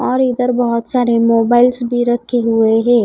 और इधर बहोत सारे मोबाइल्स भी रखे हुए हैं।